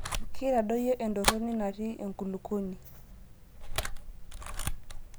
Keitadoyio entoroni natii enkulukuoni.